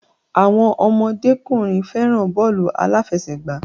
Àwọn ọmọdékùnrin fẹràn bọ́ọ̀lù aláfẹ̀sẹgbà.